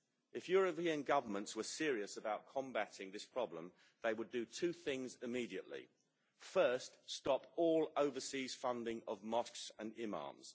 If European governments were serious about combating this problem, they would do two things immediately. First, stop all overseas funding of mosques and imams.